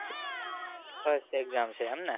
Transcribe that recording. first exam છે એમ ને?